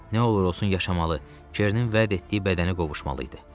Nə olur olsun yaşamalı, Kernin vəd etdiyi bədənə qovuşmalı idi.